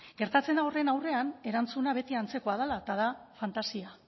gertatzen da horren aurrean erantzuna beti antzekoa dela eta da fantasia